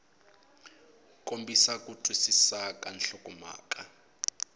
kombisa ku twisisa ka nhlokomhaka